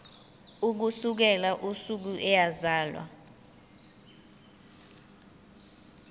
ukusukela usuku eyazalwa